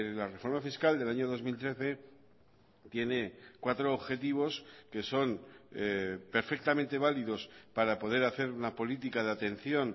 la reforma fiscal del año dos mil trece tiene cuatro objetivos que son perfectamente válidos para poder hacer una política de atención